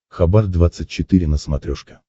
хабар двадцать четыре на смотрешке